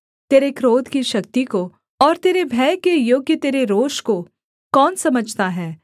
तेरे क्रोध की शक्ति को और तेरे भय के योग्य तेरे रोष को कौन समझता है